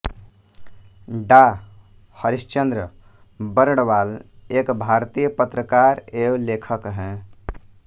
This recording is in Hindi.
डॉ हरीश चन्द्र बर्णवाल एक भारतीय पत्रकार एवं लेखक हैं